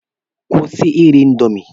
Kwụsị iri indomi.